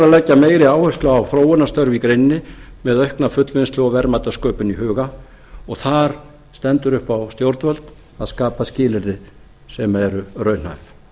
leggja meiri áherslu á þróunarstörf í greininni með aukna fullvinnslu og verðmætasköpun í huga og þar stendur upp á stjórnvöld að skapa skilyrði sem eru raunhæf